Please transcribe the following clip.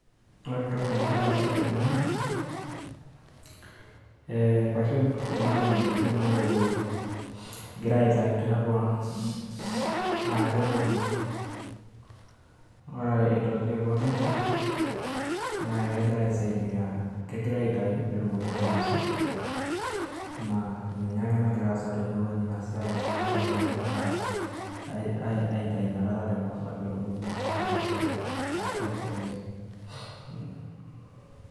Ore entoki nagira aasa tene naa, inkwashen kuna nekijo Inoolkokoyo. Egirai aitayu tiatua keguto, ore aitoki aiko neija naa kegira aisaidia egira aitayu pee etumoki naa ainosa, naa ninye naa Ina nagira aasa tenewueji naa ninye inakata nagira aas iltung'ana te mukunta pee etumoki ainosa ashu emiri.